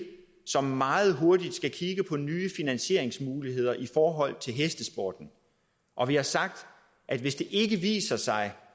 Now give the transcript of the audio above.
som meget hurtigt skal kigge på nye finansieringsmuligheder i forhold til hestesporten og vi har sagt at hvis det viser sig